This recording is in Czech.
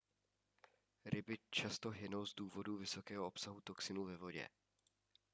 ryby často hynou z důvodu vysokého obsahu toxinů ve vodě